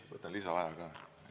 Võtan lisaaja ka!